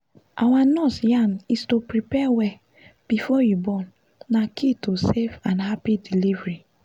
our nurse yarn is to prepare well before you born na key to safe and happy delivery